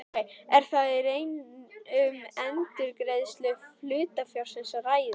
Er þá í raun um endurgreiðslu hlutafjárins að ræða.